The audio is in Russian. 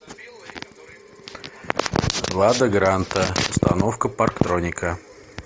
лада гранта установка парктроника